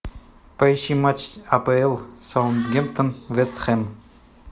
поищи матч с апл саутгемптон вест хэм